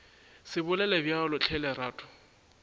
se bolele bjalo hle lerato